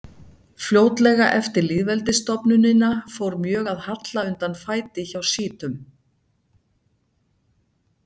Fljótlega eftir lýðveldisstofnunina fór mjög að halla undan fæti hjá sjítum.